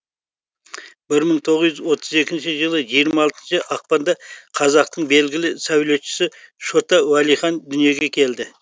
бір мың тоғыз жүз отыз екінші жылы жиырма алтыншы ақпанда қазақтың белгілі сәулетшісі шота уәлихан дүниеге келді